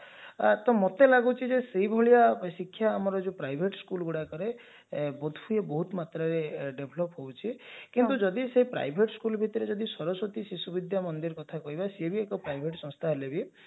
ତ ମତେ ଲାଗୁଛି ଯେ ସେଭଳିଆ ଶିକ୍ଷା ଆମର ଯଉ private school ଗୁଡାକରେ ବୋଧହୁଏ ବହୁତ ମାତ୍ରାରେ develop ହଉଛି କିନ୍ତୁ ସେ private school ଭିତରେ ଯଦି ସରସ୍ଵତୀ ବିଦ୍ୟାମନ୍ଦିର କଥା କହିବା ସେ ବି ଏକ private ସଂସ୍ଥା ହେଲେ ବି